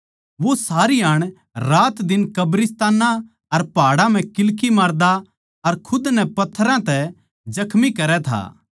वो सारीहाण रातदिन कब्रिस्तानां अर पहाड़ां म्ह किल्की मारदा अर खुद नै पत्थरां तै जख्मी करै था